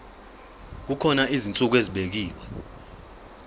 kukhona izinsuku ezibekiwe